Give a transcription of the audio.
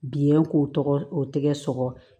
Biyɛn k'o tɔgɔ o tɛgɛ sɔgɔ